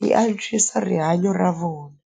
yi antswisa rihanyo ra vona.